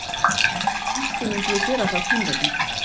Kannski mundi ég gera það þín vegna.